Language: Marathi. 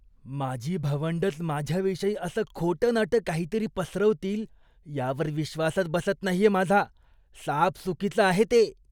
माझी भावंडंच माझ्याविषयी असं खोटंनाटं काहीतरी पसरवतील यावर विश्वासच बसत नाहीये माझा. साफ चुकीचं आहे ते.